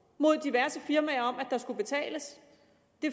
mod diverse firmaer om at der skulle betales